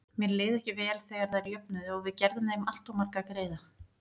Mér leið ekki vel þegar þær jöfnuðu og við gerðum þeim alltof marga greiða.